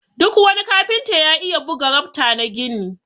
Duk wani kafinta ya iya buga rafta na gini.